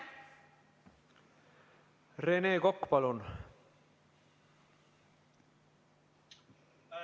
Rene Kokk, palun!